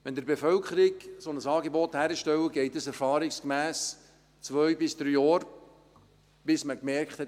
– Wenn Sie der Bevölkerung ein solches Angebot bereitstellen, geht es erfahrungsgemäss zwei bis drei Jahre, bis man bemerkt hat: